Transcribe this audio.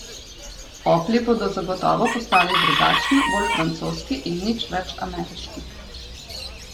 Opli bodo zagotovo postali drugačni, bolj francoski in nič več ameriški.